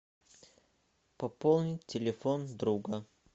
пополнить телефон друга